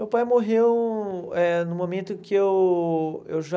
Meu pai morreu eh no momento que eu eu já...